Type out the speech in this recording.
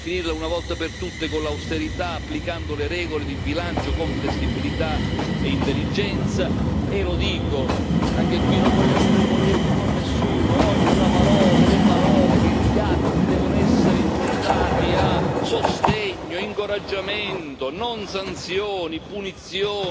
bisogna finirla, una volta per tutte, con l'austerità, applicando le regole di bilancio con flessibilità e intelligenza e lo dico, anche qui non voglio aprire polemiche con nessuno, oggi le parole e gli atti devono essere improntati a sostegno, incoraggiamento, non sanzioni, punizioni,